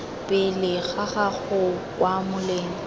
pele ga gago kwa moleng